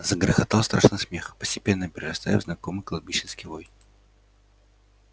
загрохотал страшный смех постепенно перерастая в знакомый кладбищенский вой